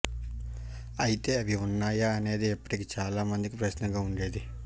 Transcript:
అయితే అవి ఉన్నాయా అనేది ఇప్పటికి చాలా మందికి ప్రశ్నగా ఉండేది